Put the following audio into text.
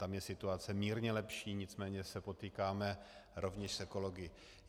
Tam je situace mírně lepší, nicméně se potýkáme rovněž s ekology.